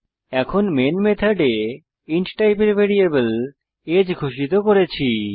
এখন মেন মেথডে ইন্ট টাইপের ভ্যারিয়েবল আগে ঘোষিত করেছি